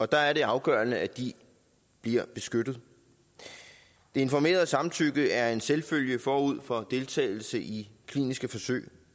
der er det afgørende at de bliver beskyttet informeret samtykke er en selvfølge forud for deltagelse i kliniske forsøg